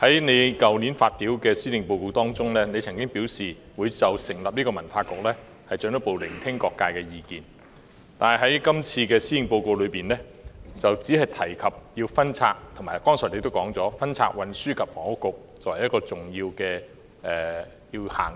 在去年發表的施政報告中，你曾經表示會就成立文化局進一步聆聽各界意見，但在這次的施政報告中，你只提及分拆，即你剛才所說的分拆運輸及房屋局，並指出這是一項重要且要優先執行的事。